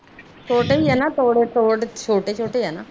ਛੋਟੇ ਹੀ ਆ ਨਾ ਤੋੜੇ ਤੋੜੇ ਛੋਟੇ ਛੋਟੇ ਆ ਨਾ